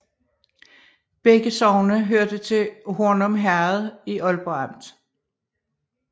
Begge sogne hørte til Hornum Herred i Ålborg Amt